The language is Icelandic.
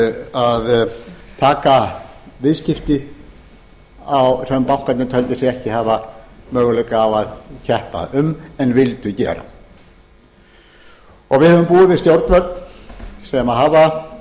að taka viðskipti sem bankarnir teldu sig ekki hafa möguleika á að keppa um en vildu gera við höfum búið við stjórnvöld sem hafa